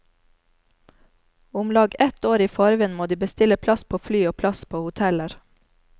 Omlag ett år i forveien må de bestille plass på fly og plass på hoteller.